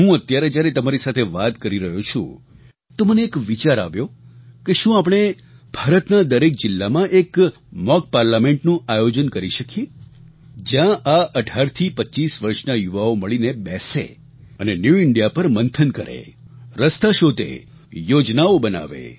હું અત્યારે જ્યારે તમારી સાથે વાત કરી રહ્યો છું તો મને એક વિચાર આવ્યો કે શું આપણે ભારતના દરેક જિલ્લામાં એક મૉક પાર્લામેન્ટનું આયોજન કરી શકીએ જ્યાં આ 18થી 25 વર્ષના યુવાઓ મળીને બેસે અને ન્યૂ ઇન્ડિયા પર મંથન કરે રસ્તા શોધે યોજનાઓ બનાવે